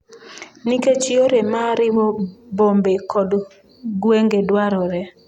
Nikech yore ma riwo bombe kod gwenge dwarore.